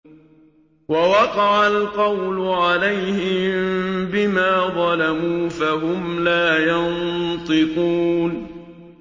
وَوَقَعَ الْقَوْلُ عَلَيْهِم بِمَا ظَلَمُوا فَهُمْ لَا يَنطِقُونَ